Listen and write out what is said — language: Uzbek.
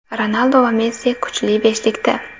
Ronaldu va Messi kuchli beshlikda.